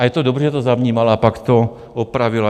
A je to dobře, že to zavnímala, a pak to opravila.